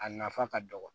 A nafa ka dɔgɔ